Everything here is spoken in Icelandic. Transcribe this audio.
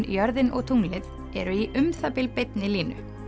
jörðin og tunglið eru í um það bil beinni línu